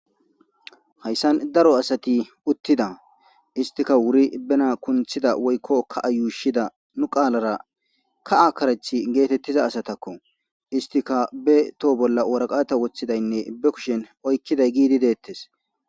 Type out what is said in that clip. Haysan daro asati utida istika wuri bena kuntida woyko ka'a yushida nu qalara ka'a karethi getetiza asatako issitika be toho bola woraqata wotidaynne be kushen oykiday gididi detes.